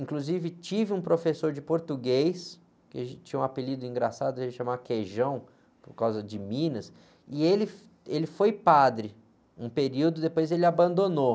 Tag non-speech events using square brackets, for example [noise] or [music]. Inclusive, tive um professor de português, que a gente tinha um apelido engraçado, a gente chamava Queijão, por causa de Minas, e ele, [unintelligible] ele foi padre um período, depois ele abandonou.